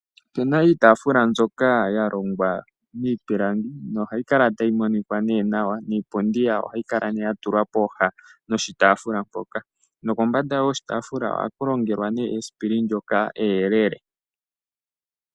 Opuna iitafula mbyoka ya longwa miipilangi no hayi kala tayi monikwa ne nawa, niipundi yawo ohayi kala ne ya tulwa pooha noshitafula mpoka, nokombanda yoshitafula ohaku longelwa ne esipili eyelele.